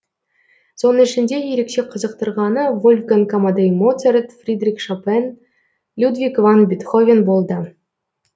соның ішінде ерекше қызықтырғаны вольфганг амадей моцарт фридрих шопен людвиг ван бетховен болды